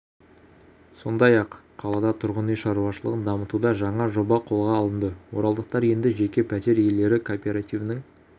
сондай-ақ қалада тұрғын үй шаруашылығын дамытуда жаңа жоба қолға алынды оралдықтар енді жеке пәтер иелері кооперативінің